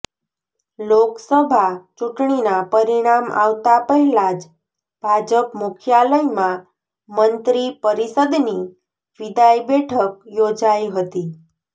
લોકસભા ચૂંટણીના પરીણામ આવતા પહેલા જ ભાજપ મુખ્યાલયમાં મંત્રીપરિષદની વિદાય બેઠક યોજાઇ હતી